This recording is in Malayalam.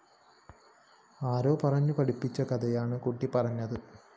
ആരോ പറഞ്ഞു പഠിപ്പിച്ച കഥയാണ് കുട്ടി പറഞ്ഞത്